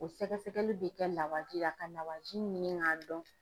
O sɛgɛsɛgɛli bɛ kɛ lawaji la ka lawaji ɲini k'a dɔn.